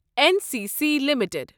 N C C limited